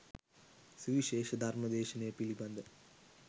සුවිශේෂ ධර්ම දේශනය පිළිබඳ